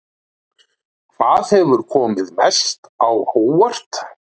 Hvaða hefur komið mest á óvart?